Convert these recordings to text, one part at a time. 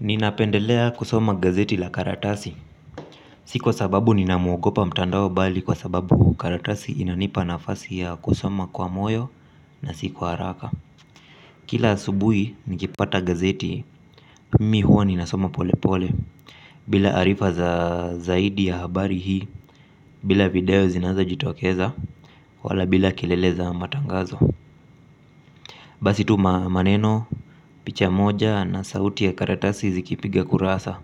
Ninapendelea kusoma gazeti la karatasi. Si kwa sababu ninauogopa mtandao bali kwa sababu karatasi inanipa nafasi ya kusoma kwa moyo na si kwa haraka. Kila asubuhi nikipata gazeti. Mimi huwa ninasoma pole pole bila arifa za zaidi ya habari hii bila video zinazojitokeza wala bila kelele za matangazo basi tu maneno, picha moja na sauti ya karatasi zikipiga kurasa.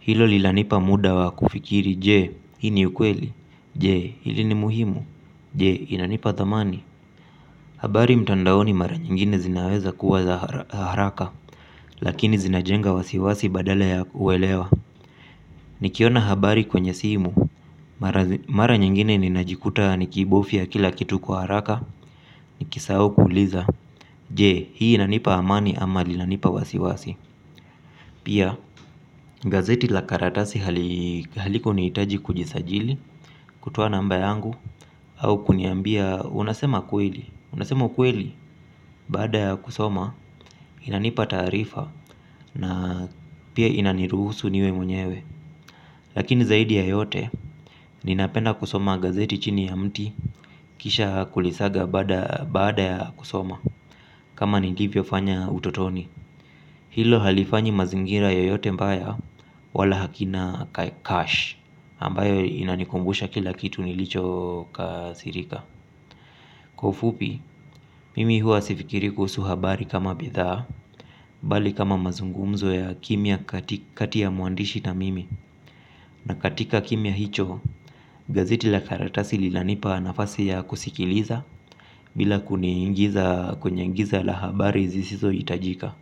Hilo linanipa muda wa kufikiri, je, hii ni ukweli. Je, hili ni muhimu. Je, inanipa thamani. Habari mtandaoni mara nyingine zinawezakuwa za haraka, lakini zinajenga wasiwasi badala ya kuelewa. Nikiona habari kwenye simu. Mara nyingine ninajikuta nikibofya kila kitu kwa haraka, nikisahau kuuliza. Je, hii inanipa amani ama linanipa wasiwasi. Pia gazeti la karatasi halikunihitaji kujisajili kutoa namba yangu au kuniambia unasema kweli. Unasema ukweli baada ya kusoma inanipa taarifa na pia inaniruhusu niwe mwenyewe. Lakini zaidi ya yote ninapenda kusoma gazeti chini ya mti kisha kulisaga baada ya kusoma. Kama nilivyofanya utotoni. Hilo halifanyi mazingira yoyote mbaya wala hakina cash ambayo inanikumbusha kila kitu nilichokasirika. Kwa ufupi, mimi huwa sifikiri kuhusu habari kama bidhaa bali kama mazungumzo ya kimya kati ya mwandishi na mimi na katika kimia hicho, gazeti la karatasi linanipa nafasi ya kusikiliza bila kuniingiza kwenye giza la habari zisizohitajika.